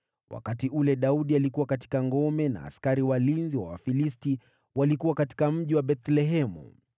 Wakati huo Daudi alikuwa katika ngome, na kambi ya Wafilisti ilikuwa huko Bethlehemu.